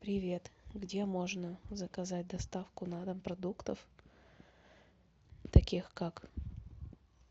привет где можно заказать доставку на дом продуктов таких как